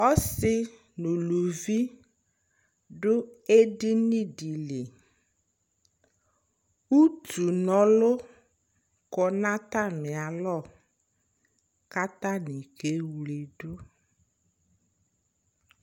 ɔsii nʋ ʋlʋvi dʋ ɛdini dili, ʋtʋ nɔlʋ kɔnʋ atani alɔ kʋ atani kɛ wlɛdu